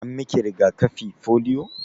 An miki riga-kafi polio?